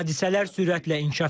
Hadisələr sürətlə inkişaf edir.